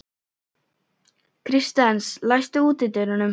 Kristens, læstu útidyrunum.